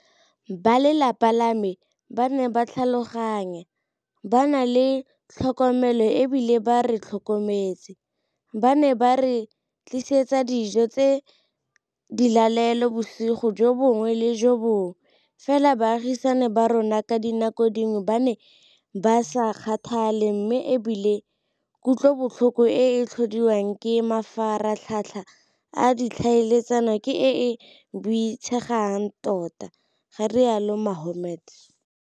Ba lelapa la me ba ne ba tlhaloganya, ba na le tlhokomelo e bile ba re tlhokometse, ba ne ba re tlisetsa dijo tsa dilalelo bosigo jo bongwe le jo bongwe, fela baagisani ba rona ka dinako dingwe ba ne ba sa kgathale mme e bile kutlobotlhoko e e tlhodiwang ke mafaratlhatlha a ditlhaeletsano ke e e boitshegang tota, ga rialo Mohammed.